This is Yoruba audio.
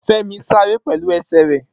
Femi sáré pẹ̀lú ẹsẹ̀ rẹ̀